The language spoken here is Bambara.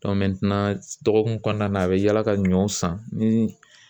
dɔgɔkun kɔnɔna na a bi yala ka ɲɔ san ni